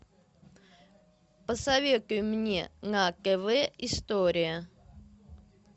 посоветуй мне на тв история